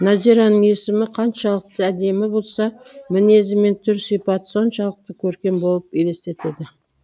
нәзираның есімі қаншалықты әдемі болса мінезі мен түр сипаты соншалықты көркем болып елестетеді